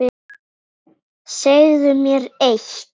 Úrbætur þoli enga bið.